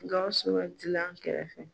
Gawusu ka gilan kɛrɛfɛ